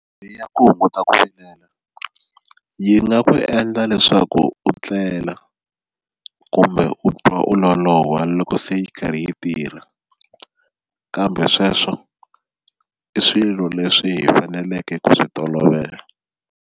Ya ku hunguta ku vilela yi nga ku endla leswaku u tlela kumbe u twa u loloha loko se yi karhi yi tirha kambe sweswo i swilo leswi hi faneleke ku swi tolovela.